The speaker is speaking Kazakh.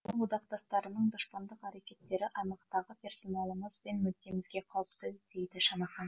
одақтастарының дұшпандық әрекеттері аймақтағы персоналымыз бен мүддемізге қауіпті дейді шанахан